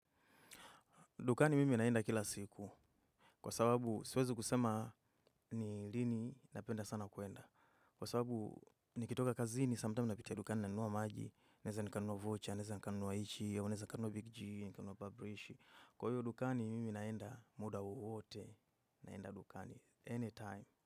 Dukani mimi naenda kila siku, kwa sababu siwezi kusema ni lini napenda sana kwenda. Kwa sababu nikitoka kazini, samtami napitia dukani nanuwa maji, neza nikanuwa voucher, neza nikanuwa ichi, neza nikanuwa bigji, nikanuwa babrishi. Kwa hiyo dukani, mimi naenda muda wowote, naenda dukani, anytime.